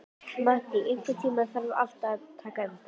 Mattý, einhvern tímann þarf allt að taka enda.